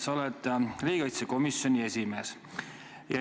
Sa oled riigikaitsekomisjoni esimees.